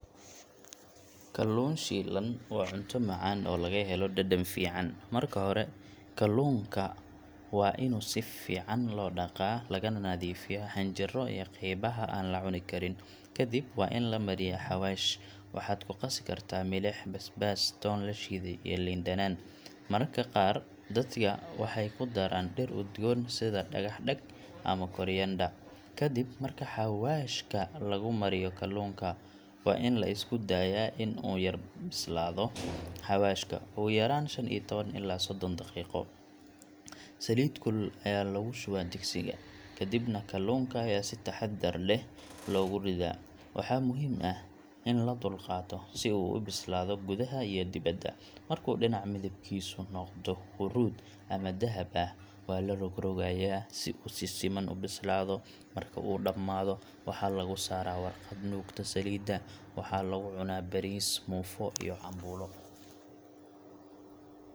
Kalluun shiilan waa cunto macaan oo laga helo dhadhan fiican. Marka hore, kalluunka waa in si fiican loo dhaqaa lagana nadiifiyaa xinjiro iyo qaybaha aan la cuni karin. Kadib, waa in la mariyaa xawaash: waxaad ku qasi kartaa milix, basbaas, toon la shiiday, iyo liin dhanaan. Mararka qaar dadka waxay ku daraan dhir udgoon sida dhagax-dheg ama coriander. Kadib marka xawaashka lagu mariyo kalluunka, waa in la iska daayaa in uu yar u bislaado xawaashka, ugu yaraan shan iyo tawan ilaa soddon daqiiqo. Saliid kulul ayaa lagu shubaa digsiga, kadibna kalluunka ayaa si taxaddar leh loogu riddaa. Waxaa muhiim ah in la dulqaato si uu u bislaado gudaha iyo dibadda. Markuu dhinac midabkiisu noqdo huruud ama dahab ah, waa la rogrogayaa si uu si siman u bislaado. Marka uu dhammaado, waxaa lagu saaraa warqad nuugta saliidda. Waxaa lagu cunaa bariis, muufo ama cambuulo.